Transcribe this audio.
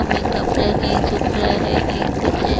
कपड़े कहीं सूख रहे हैं कहीं कुछ है।